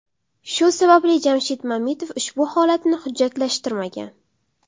Shu sababli Jamshid Mamitov ushbu holatni hujjatlashtirmagan.